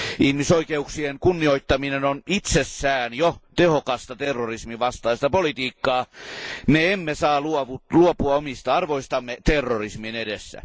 Ihmisoikeuksien kunnioittaminen on itsessään jo tehokasta terrorismin vastaista politiikkaa. Me emme saa luopua omista arvoistamme terrorismin edessä.